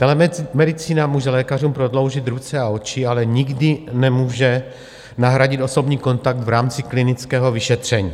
Telemedicína může lékařům prodloužit ruce a oči, ale nikdy nemůže nahradit osobní kontakt v rámci klinického vyšetření.